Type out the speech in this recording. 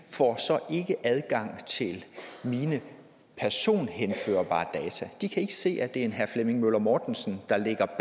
ikke adgang til mine personhenførbare data de kan ikke se at det er en herre flemming møller mortensen der ligger